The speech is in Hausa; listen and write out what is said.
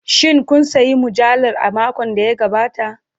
Shin kun sayi mujallar a makon da ya gabata?